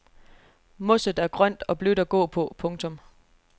Mosset er grønt og blødt at gå på. punktum